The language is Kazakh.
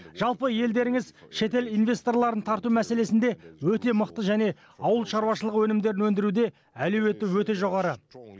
жалпы елдеріңіз шетел инвесторларын тарту мәселесінде өте мықты және ауыл шаруашылығы өнімдерін өндіруде әлеуеті өте жоғары